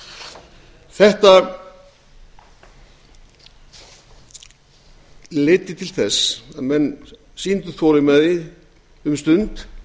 en þetta leiddi til þess að menn sýndu þolinmæði um stund